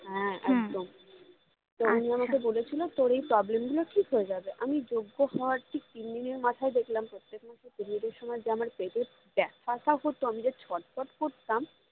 হ্যাঁ একদম তো উনি আমাকে বলেছিলো তোর এগুলো ঠিক হয়ে যাবে আমি যজ্ঞ হওয়ার ঠিক তিনদিনের মাথায় দেখলাম প্রত্যেক মাসে period এর সময় যে আমার পেতে ব্যাথাটা হতো আমি যে ছটফট করতাম